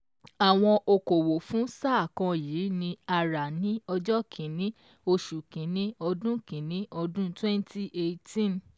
Àwọn okòwò fún sáà kan yìí ni a rà ní ọjọ́ kìíní, oṣù kìíní ọdún kìíní ọdún twenty eighteen.